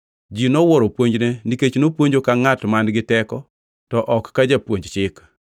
Ji nowuoro puonjne, nikech nopuonjo ka ngʼat man-gi teko, to ok ka Jopuonj Chik.